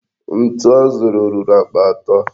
Ntu a zụrụ ruru akpa atọ.